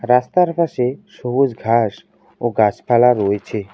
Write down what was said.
রাস্তার পাশে সবুজ ঘাস ও গাছপালা রয়েছে।